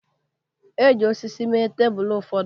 E ji osisi mee tebụl ụfọdụ